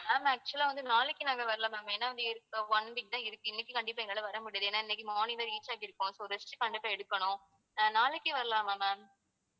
ma'am actual ஆ வந்து நாளைக்கு நாங்க வரல ma'am ஏன்னா வந்து இருக்க~ one week தான் இருக்கு. இன்னைக்கு கண்டிப்பா எங்களால வர முடியாது ஏன்னா இன்னைக்கு morning தான் reach ஆகி இருக்கோம் so rest கண்டிப்பா எடுக்கணு. ம் அஹ் நாளைக்கு வரலாமா ma'am